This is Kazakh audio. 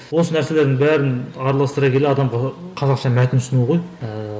осы нәрселердің бәрін араластыра келе адамға қазақша мәтін ұсыну ғой ііі